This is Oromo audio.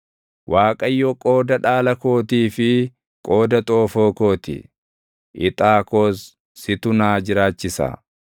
Waaqayyo qooda dhaala kootii fi qooda xoofoo koo ti; ixaa koos situ naa jiraachisa.